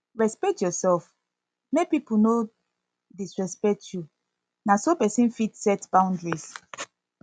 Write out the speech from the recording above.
respect yourself make people no disrespect you na so person fit set boundaries